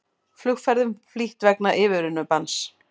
Flugferðum flýtt vegna yfirvinnubanns